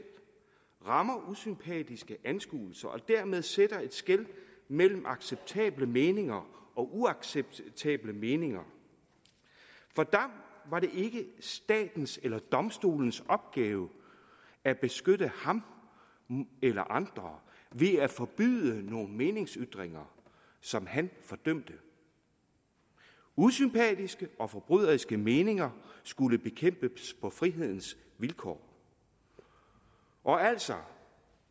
rammer usympatiske anskuelser og dermed sætter et skel mellem acceptable meninger og uacceptable meninger for dam var det ikke statens eller domstolens opgave at beskytte ham eller andre ved at forbyde meningsytringer som han fordømte usympatiske og forbryderiske meninger skulle bekæmpes på frihedens vilkår og altså